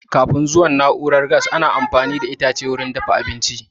Kafin zuwan na'urar gas, ana amfani da itace wurin dafa abinci